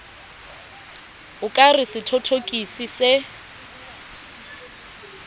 o ka re sethothokisi se